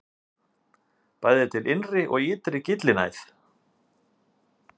Bæði er til innri og ytri gyllinæð.